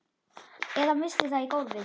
Eða missti það í gólfið.